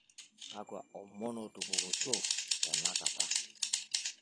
kakua omon ootupukutuo tenakata